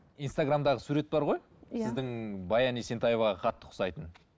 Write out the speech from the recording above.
инстаграмдаға сурет бар ғой иә сіздің баян есентаеваға қатты ұқсайтын